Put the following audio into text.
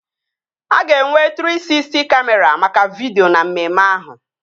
A ga-enwe Trii Sisty Kamịra maka vidio na mmemme ahụ